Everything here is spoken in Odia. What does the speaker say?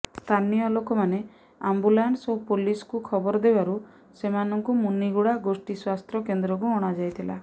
ସ୍ଥାନୀୟ ଲୋକମାନେ ଆମ୍ବୁଲାନ୍ସ ଓ ପୋଲିସକୁ ଖବର ଦେବାରୁ ସେମାନଙ୍କୁ ମୁନିଗୁଡା ଗୋଷ୍ଠି ସ୍ବାସ୍ଥ୍ୟ କେନ୍ଦ୍ରକୁ ଅଣା ଯାଇଥିଲା